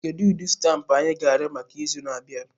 Kedu ụdị stampụ a ga-arịọ maka izu na-abịa?